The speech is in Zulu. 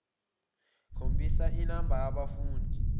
khombisa inamba yabafundi